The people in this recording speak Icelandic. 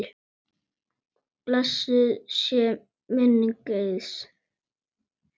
Blessuð sé minning Eiðs.